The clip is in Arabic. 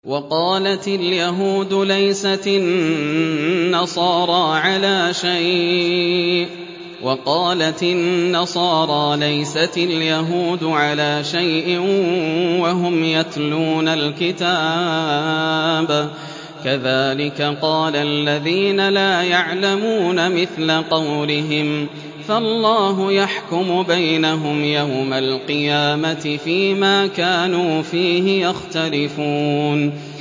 وَقَالَتِ الْيَهُودُ لَيْسَتِ النَّصَارَىٰ عَلَىٰ شَيْءٍ وَقَالَتِ النَّصَارَىٰ لَيْسَتِ الْيَهُودُ عَلَىٰ شَيْءٍ وَهُمْ يَتْلُونَ الْكِتَابَ ۗ كَذَٰلِكَ قَالَ الَّذِينَ لَا يَعْلَمُونَ مِثْلَ قَوْلِهِمْ ۚ فَاللَّهُ يَحْكُمُ بَيْنَهُمْ يَوْمَ الْقِيَامَةِ فِيمَا كَانُوا فِيهِ يَخْتَلِفُونَ